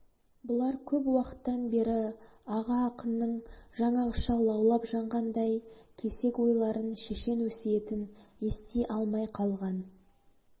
бұлар көп уақыттан бері аға ақынның жаңағыша лаулап жанғандай кесек ойларын шешен өсиетін ести алмай қалған